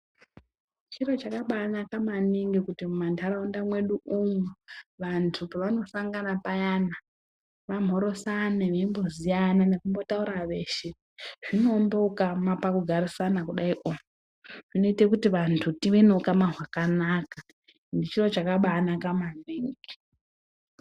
Chiro chakabanaka maningi kuti mumandaraunda mwedu umo vantu pavanosangana payana vamhoresane veimboziyana nekumbotaura veshe zvinoumba ukama pakugarisana kudaio zvinoite kuti vantu tive neukama hwakanaka ende chiro chakabanaka maningi.